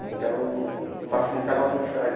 Então facilitava a mixagem.